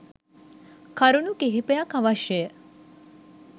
කරුණු කිහිපයක් අවශ්‍යය.